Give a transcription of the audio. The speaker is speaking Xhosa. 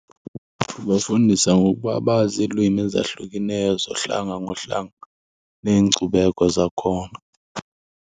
Kubafundisa ngokuba bazi iilwimi ezahlukeneyo zohlanga ngohlanga neenkcubeko zakhona.